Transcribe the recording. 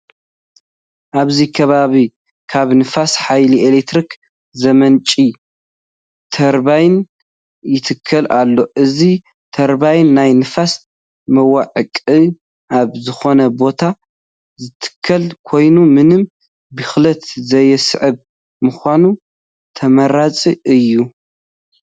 ኣብዚ ከባቢ ካብ ንፋስ ሓይሊ ኤለክትሪክ ዘምንጩ ተርባይን ይትከል ኣሎ፡፡ እዚ ተርባይን ናይ ንፋስ መዋቅዕ ኣብ ዝኾነ ቦታ ዝትከል ኮይኑ፡፡ ምንም ብኽለት ዘየስዕብ ብምዃኑ ተመራፂ እዩ፡፡